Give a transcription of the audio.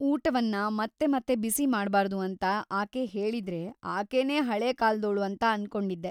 ಊಟವನ್ನ ಮತ್ತೆ ಮತ್ತೆ ಬಿಸಿ ಮಾಡ್ಬಾರ್ದು ಅಂತಾ ಆಕೆ ಹೇಳಿದ್ರೆ ಆಕೆನೇ ಹಳೇ ಕಾಲ್ದೋಳು ಅಂತ ಅನ್ಕೊಂಡಿದ್ದೆ.